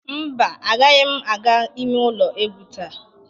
Mba, agaghị m aga ime ụlọ egwu taa.